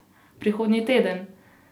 Prihodnji teden!